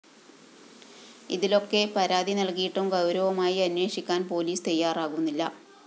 ഇതിലൊക്കെ പരാതി നല്‍കിയിട്ടും ഗൗരവമായി അന്വേഷിക്കാന്‍ പോലീസ് തയ്യാറാകുന്നില്ല